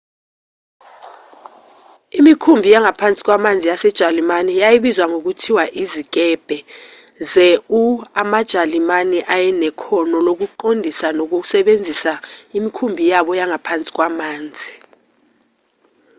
imikhumbi yangaphansi kwamanzi yasejalimane yayibizwa ngokuthi izikebhe ze-u amajalimane ayenekhono lokuqondisa nokusebenzisa imikhumbi yabo yangaphansi kwamanzi